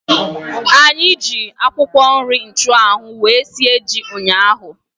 Anyị ji akwụkwọ nri nchanwu ahu wee sie ji ụnyaahụ